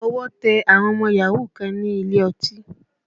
Ọwọ́ tẹ àwọn ọmọ yahoo kan ní ilé ọtí